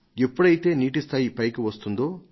ఎప్పుడైతే నీటి స్థాయి పైకి వస్తుందో